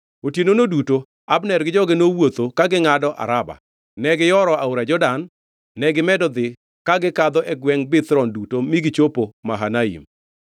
Otienono duto Abner gi joge nowuotho ka gingʼado Araba. Negiyoro aora Jordan, negimedo dhi ka gikadho gwengʼ Bithron duto mi gichopo Mahanaim.